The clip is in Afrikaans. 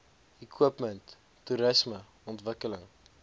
equipment toerisme ontwikkeling